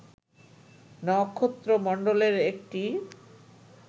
নক্ষত্রমন্ডলের একটি